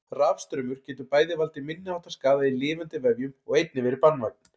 Rafstraumur getur bæði valdið minniháttar skaða í lifandi vefjum og einnig verið banvænn.